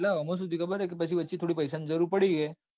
એટલે ઇમો સુ થયું ખબર છે. કે વચ્ચે થોડા પૈસા ની જરૂર પડી કે.